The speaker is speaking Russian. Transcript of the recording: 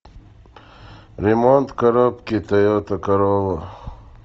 ремонт коробки тойота королла